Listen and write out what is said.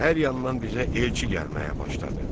Hər yandan bizə elçi gəlməyə başladı.